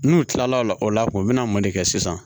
N'u kilala o la k'u bɛna mɔn de kɛ sisan